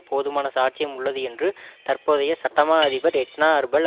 போதுமான சாட்சியம் உள்ளது என்று தற்போதைய சட்டமா அதிபர் எட்னா அர்பல்